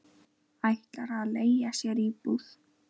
Ætlar að leigja sér íbúð.